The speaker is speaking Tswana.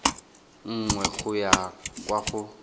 nngwe go ya kwa go